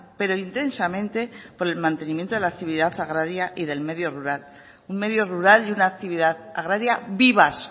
pero intensamente por el mantenimiento de la actividad agraria y del medio rural un medio rural y una actividad agraria vivas